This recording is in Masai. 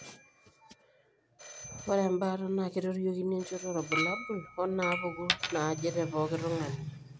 Ore embaata naa keitoriokini enchoto oorbulabul onaapuku naaje tepooki tung'ani.